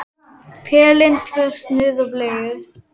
Pelinn, tvö snuð og bleiur.